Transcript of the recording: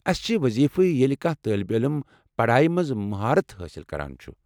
اَسہِ چھِ وضیفٕے ییلہِ كانہہ طالب علم پڈایہِ منز مہارت حٲصل کران چُھ۔